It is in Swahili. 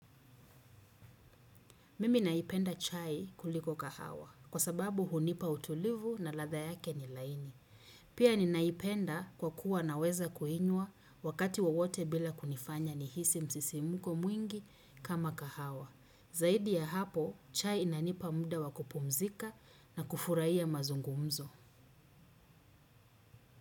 Mimi naipenda chai kuliko kahawa kwa sababu hunipa utulivu na ladha yake ni laini. Pia ninaipenda kwa kuwa naweza kuinywa wakati wawote bila kunifanya nihisi msisimuko mwingi kama kahawa. Zaidi ya hapo chai inanipa muda wakupumzika na kufurahia mazungumzo.